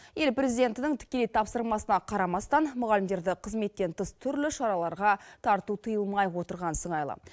ел президентінің тікелей тапсырмасына қарамастан мұғалімдерді қызметтен тыс түрлі шараларға тарту тыйылмай отырған сыңайлы